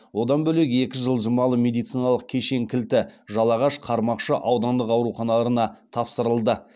одан бөлек екі жылжымалы медициналық кешен кілті жалағаш қармақшы аудандық ауруханаларына тапсырылды